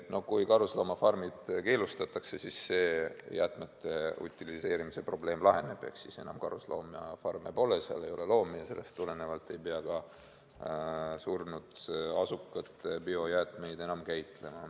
No kui karusloomafarmid keelustatakse, siis see jäätmete utiliseerimise probleem laheneb ehk siis enam karusloomafarme pole, seal ei ole loomi ja sellest tulenevalt ei pea ka surnud asukate biojäätmeid enam käitlema.